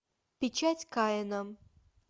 печать каина